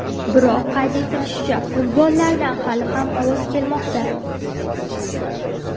Biroq, qayd etilishicha, furgonlardan hali ham ovoz kelmoqda.